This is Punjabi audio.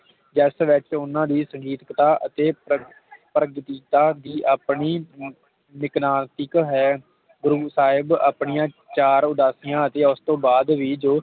ਜਿਸ ਵਿਚ ਓਹਨਾ ਦੀ ਸੰਗੀਤ ਦਾ ਅਤੇ ਪ੍ਰਗਗੀਤਾ ਦੀ ਆਪਣੀ ਵਿਕਨਾਸਿਕ ਹੈ ਗੁਰੂ ਸਾਹਿਬ ਆਪਣੀਆਂ ਚਾਰ ਉਦਾਸੀਆਂ ਦੀ ਅਤੇ ਉਸ ਤੋਂ ਬਾਦ ਵੀ